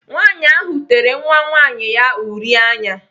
Nwaanyị ahụ tere nwa nwaanyị ya uri anya.